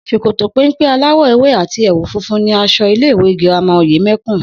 S̩òkòtò péḿpé aláwò̩ ewé àti è̩wù funfun ni as̩o̩ ilé ìwé girama Òyème̩kùn